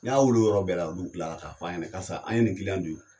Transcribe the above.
N y'a wili o yɔrɔ bɛɛ la. Olu tilara k'a f'a ɲɛnɛ karisa an ye nin don i kun.